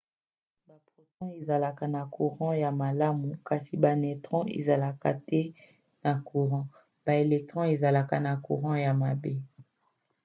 baproton ezalaka na courant ya malamu kasi ba neutron ezalaka te na courant. baelectron ezalaka na courant ya mabe